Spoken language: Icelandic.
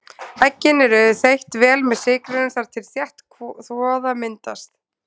Eggin eru þeytt vel með sykrinum þar til þétt kvoða myndast.